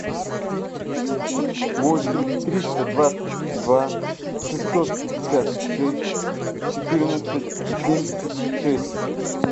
восемь триста двадцать два шестьсот пятьдесят шесть четырнадцать семьдесят шесть